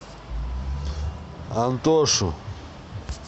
антошу